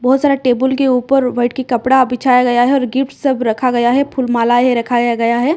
बहोत सारा टेबुल के ऊपर वाइट की कपड़ा बिछाया गया है और गिफ्टस् सब रखा गया है फूल मालायें रखाया गया है।